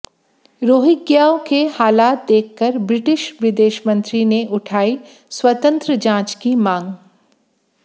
रोहिंग्याओं के हालात देखकर ब्रिटिश विदेशमंत्री ने उठाई स्वतंत्र जांच की मांग